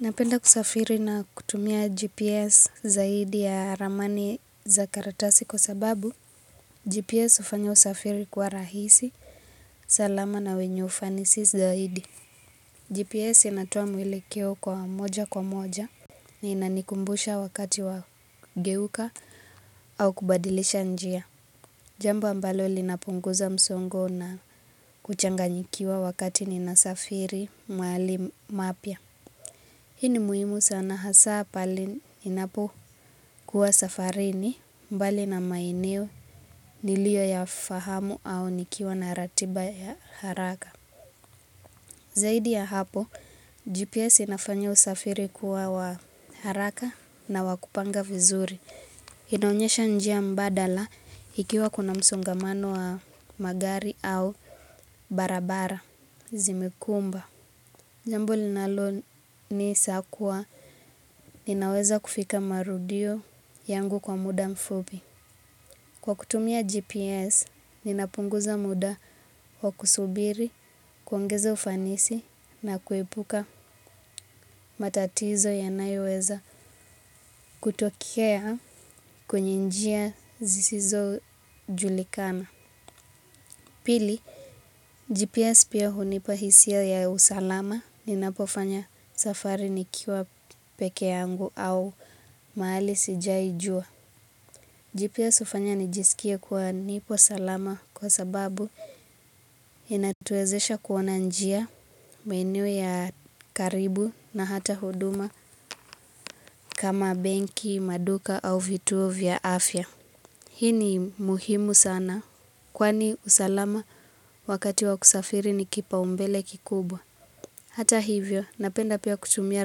Napenda kusafiri na kutumia GPS zaidi ya ramani za karatasi kwa sababu GPS hufanyo usafiri kuwa rahisi, salama na wenye ufanisi zaidi GPS inatoa mwelekeo kwa moja kwa moja. Na inanikumbusha wakati wa geuka au kubadilisha njia jambo ambalo linapunguza msongo na kuchanga nyikiwa wakati ninasafiri mahali mapya. Hii ni muhimu sana hasa pale ninapo kuwa safarini mbali na maeneo niliyo ya fahamu au nikiwa na ratiba ya haraka. Zaidi ya hapo, GPS inafanyo usafiri kuwa wa haraka na wa kupanga vizuri. Inaonyesha njia mbadala ikiwa kuna msongamano wa magari au barabara zimekumba. Jambu linalo nisakuwa ninaweza kufika marudio yangu kwa muda mfupi. Kwa kutumia GPS, ninapunguza muda wa kusubiri, kuongeza ufanisi na kuepuka matatizo yanayo weza kutokea kwenye njia zisizo julikana. Pili, GPS pia hunipa hisia ya usalama ninapo fanya safari nikiwa peke yangu au mahali sijaijua. GPS hufanya nijisikie kuwa nipo salama kwa sababu inatuwezesha kuona njia maeneo ya karibu na hata huduma kama benki, maduka au vituo vya afya. Hii ni muhimu sana, kwani usalama wakati wa kusafiri ni kipaumbele kikubwa. Hata hivyo, napenda pia kutumia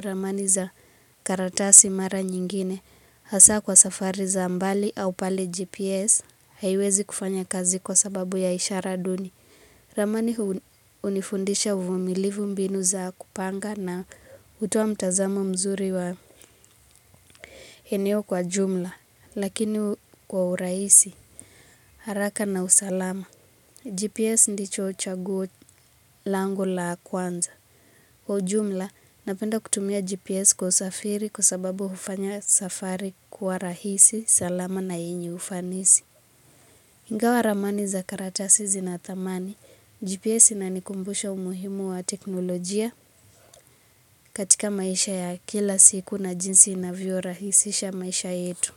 ramani za karatasi mara nyingine. Hasa kwa safari za mbali au pale GPS haiwezi kufanya kazi kwa sababu ya ishara duni. Ramani hunifundisha uvumilivu mbinu za kupanga na hutoa mtazamo mzuri wa eneo kwa jumla. Lakini kwa urahisi, haraka na usalama. GPS ndicho chaguo langu la kwanza. Kwa ujumla, napenda kutumia GPS kwa usafiri kwa sababu hufanya safari kuwa rahisi, salama na yenye ufanisi. Ingawa ramani za karatasi zinathamani, GPS ina nikumbusha umuhimu wa teknolojia katika maisha ya kila siku na jinsi inavyo rahisisha maisha yetu.